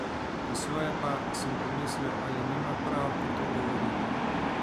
Po svoje pa, sem pomislil, ali nima prav, ko to govori?